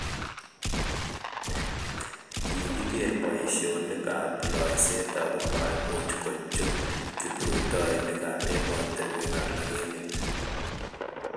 kikiker boisionik ab loiset aku maimuch kochut kiprutoinikab emotinwek alak emet